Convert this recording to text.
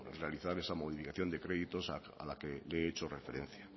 realizar esa modificación de créditos a la que le he hecho referencia